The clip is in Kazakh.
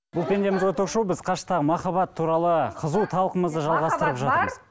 бұл пендеміз ғой ток шоуы біз қашықтықтағы махаббат туралы қызу талқымызды жалғастырып жатырмыз